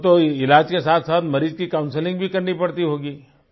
आपको तो इलाज के साथसाथ मरीज़ की काउंसलिंग भी करनी पड़ती होगी